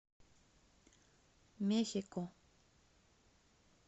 мехико